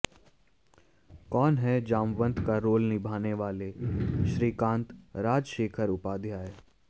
कौन हैं जामवंत का रोल निभाने वाले श्रीकांत राजशेखर उपाध्याय